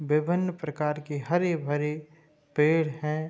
विभिन्न प्रकार के हरे भरे पेड़ हैं।